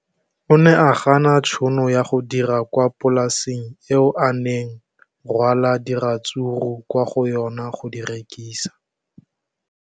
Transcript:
O ne a gana tšhono ya go dira kwa polaseng eo a neng rwala diratsuru kwa go yona go di rekisa.